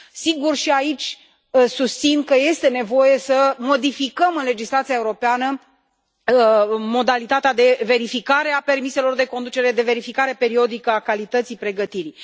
Sigur, și aici susțin că este nevoie să modificăm în legislația europeană modalitatea de verificare a permiselor de conducere, de verificare periodică a calității pregătirii.